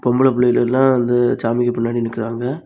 பொம்பள புள்ளெங்க எல்லா அந்த சாமிக்கு பின்னாடி நிக்குறாங்க.